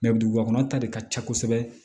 dugubakɔnɔ ta de ka ca kosɛbɛ